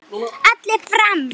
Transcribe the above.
Allir fram!